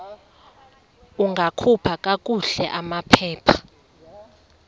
ungakhupha kakuhle amaphepha